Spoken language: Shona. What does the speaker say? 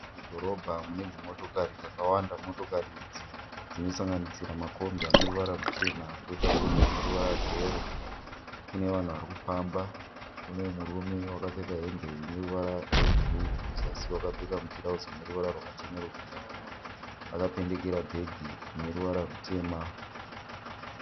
Mudhorobha mune dzimotokari dzakawanda. Motokari idzi dzinosanganisira makombi ane ruvara ruchena kwoita kombi ine ruvara rweyero. Kune vanhu varikufamba kune murume wakapfeka hembe ine ruvara rwebhuruu kuzasi wakapfeka mutirauzi rineruvara rwakachenerukira. Akapendekera bhegi rine ruvara rutema.